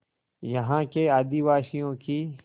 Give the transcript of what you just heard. यहाँ के आदिवासियों की